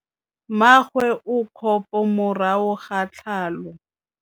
Mmagwe o kgapô morago ga tlhalô.